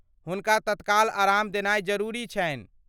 हुनका तत्काल आराम देनाई जरुरी छन्हि।